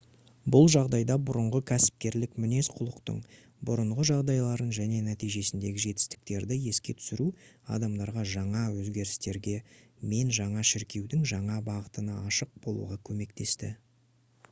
бұл жағдайда бұрынғы кәсіпкерлік мінез-құлықтың бұрынғы жағдайларын және нәтижесіндегі жетістіктерді еске түсіру адамдарға жаңа өзгерістерге мен жаңа шіркеудің жаңа бағытына ашық болуға көмектесті